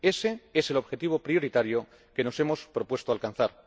Ese es el objetivo prioritario que nos hemos propuesto alcanzar.